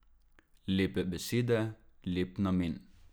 Lepe besede, lep namen.